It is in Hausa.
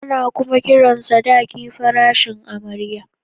Ana kuma kiran sadaki farashin amarya